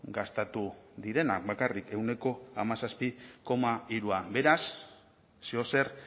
gastatu direnak bakarrik ehuneko hamazazpi koma hiru beraz zeozer